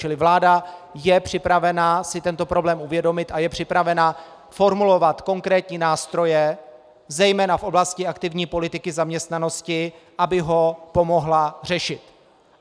Čili vláda je připravena si tento problém uvědomit a je připravena formulovat konkrétní nástroje, zejména v oblasti aktivní politiky zaměstnanosti, aby ho pomohla řešit.